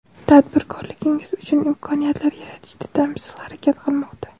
tadbirkorligingiz uchun imkoniyatlar yaratishda tinimsiz harakat qilmoqda.